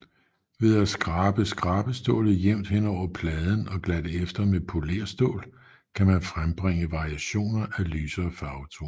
Ved at skrabe skrabestålet jævnt henover pladen og glatte efter med polérstål kan man frembringe variationer af lysere farvetoner